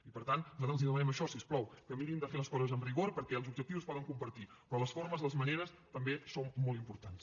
i per tant nosaltres els demanem això si us plau que mirin de fer les coses amb rigor perquè els objectius es poden compartir però les formes les maneres també són molt importants